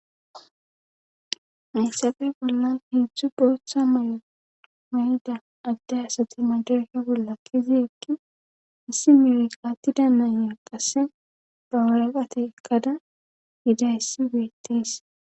meyssafe bollan heedzdzu booththa mayma7ida adde asati majarka bolla kizi ekki hissi meri attida nannya qasse bawureqate ekkada gidayssi beettees